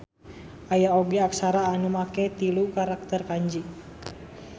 Aya oge aksara anu make tilu karakter kanji